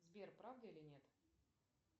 сбер правда или нет